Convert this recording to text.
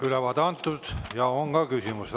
Ülevaade antud ja on ka küsimusi.